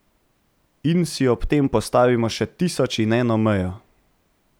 In si ob tem postavimo še tisoč in eno mejo!